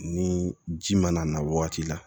Ni ji mana na wagati la